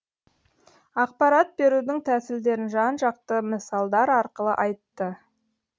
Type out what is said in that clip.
ақпарат берудің тәсілдерін жан жақты мысалдар арқылы айтты